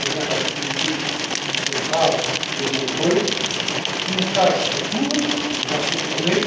nous voyons bien dans l'actualité qu'ils sont graves et nombreux. Une page se tourne, ou va se tourner.